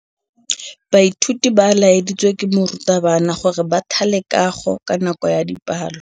Baithuti ba laeditswe ke morutabana gore ba thale kagô ka nako ya dipalô.